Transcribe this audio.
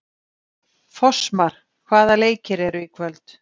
Fossmar, hvaða leikir eru í kvöld?